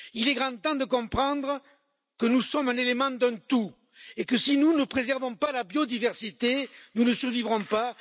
Il est grand temps de comprendre que nous sommes un élément d'un tout et que si nous ne préservons pas la biodiversité, nous ne survivrons pas.